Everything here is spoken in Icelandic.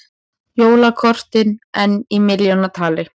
Jólakortin enn í milljónatali